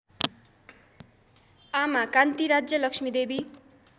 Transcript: आमा कान्ति राज्यलक्ष्मीदेवी